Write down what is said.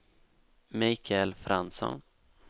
Michael Fransson